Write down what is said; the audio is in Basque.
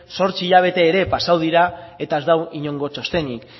zortzi hilabete ere pasatu dira eta ez dago inongo txostenik